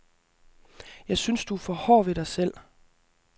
Jeg synes, at du er for hård ved dig selv.